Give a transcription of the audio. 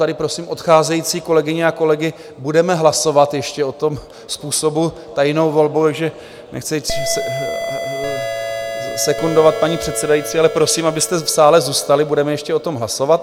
Tady prosím odcházející kolegyně a kolegy, budeme hlasovat ještě o tom způsobu tajnou volbou, takže nechci sekundovat paní předsedající, ale prosím, abyste v sále zůstali, budeme ještě o tom hlasovat.